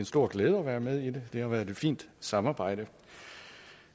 stor glæde at være med i det det har været et fint samarbejde